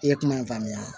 I ye kuma in faamuya